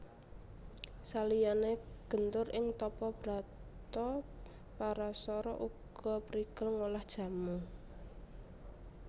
Saliyané gentur ing tapa brata Parasara uga prigel ngolah jamu